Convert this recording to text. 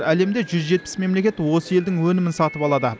әлемде жүз жетпіс мемлекет осы елдің өнімін сатып алады